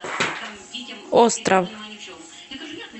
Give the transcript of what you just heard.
остров